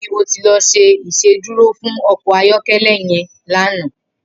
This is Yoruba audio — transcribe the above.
Nibò lò ti ṣé Ìṣédùró fún ọkọ ayọkẹlẹ yèn lànã?